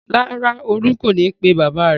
Rárá, Olú kò ní pe bàbá rẹ̀.